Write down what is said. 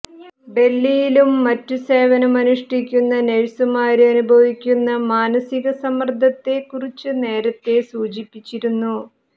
ഡല്ഹിയിലും മറ്റും സേവനം അനുഷ്ഠിക്കുന്ന നഴ്സുമാര് അനുഭവിക്കുന്ന മാനസിക സമ്മര്ദത്തെ കുറിച്ച് നേരത്തെ സൂചിപ്പിച്ചിരുന്നു